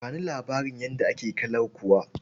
Ba ni labarin yadda ake kalankuwa.